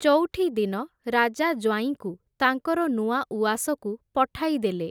ଚଉଠିଦିନ ରାଜା ଜ୍ଵାଇଁଙ୍କୁ ତାଙ୍କର ନୂଆ ଉଆସକୁ ପଠାଇଦେଲେ ।